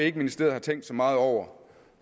ikke ministeriet har tænkt så meget over